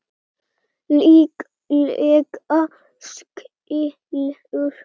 Líklega skilur